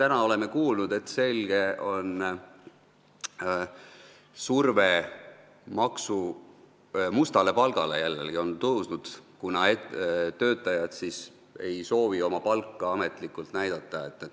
Me oleme kuulnud, et surve mustalt palka maksta on selgelt jälle tugevnenud, kuna töötajad ei soovi oma palka ametlikult näidata.